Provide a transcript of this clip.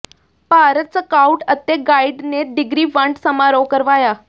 Bharat scout ਅਤੇ guide ਨੇ degree ਵੰਡ ਸਮਾਰੋਹ ਕਰਵਾਇਆ